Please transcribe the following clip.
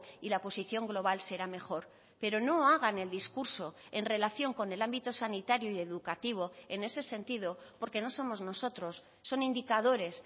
y la posición global será mejor pero no hagan el discurso en relación con el ámbito sanitario y educativo en ese sentido porque no somos nosotros son indicadores